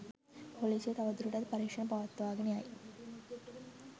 පොලිසිය තවදුරටත් පරීක්‍ෂණ පවත්වාගෙන යයි